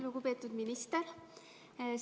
Lugupeetud minister!